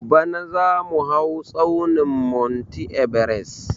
Bana zamu hau tsaunin monti ebares